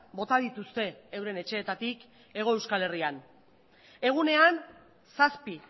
bota dituzte euren etxeetatik hego euskal herrian egunean zazpi